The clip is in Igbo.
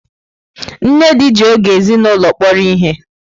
Nnedi ji oge ezinụlọ kpọrọ ihe.